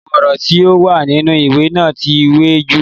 Àwọn ọ̀rọ̀ tí o wà nínú ìwé náà ti wẹ jù.